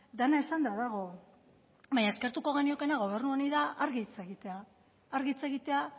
dena esanda dago baina eskertuko geniokeena gobernu honi da argi hitz egitea argi hitz egitea